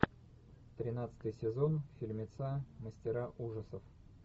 тринадцатый сезон фильмеца мастера ужасов